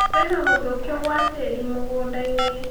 Kwĩna gũthũkio gwa tĩĩri mũgũnda-inĩ